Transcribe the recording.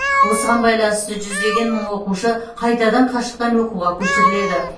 осыған байланысты жүздеген мың оқушы қайтадан қашықтан оқуға көшіріледі